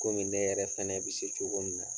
Kɔmi ne yɛrɛ fana bɛ se cogo min na